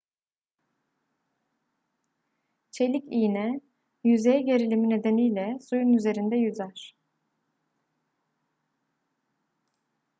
çelik iğne yüzey gerilimi nedeniyle suyun üzerinde yüzer